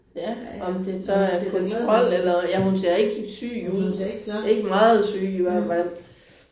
Ja om det så er kontrol eller ja hun ser ikke syg ud. Ikke meget syg i hvert fald